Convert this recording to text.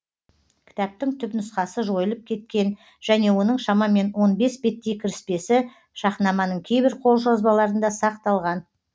кітаптың түпнұсқасы жойылып кеткен және оның шамамен он бес беттей кіріспесі шахнаманың кейбір қолжазбаларында сақталған